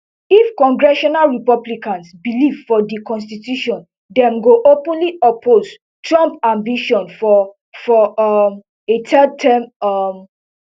if congressional republicans believe for di constitution dem go openly oppose trump ambitions for for um a third term um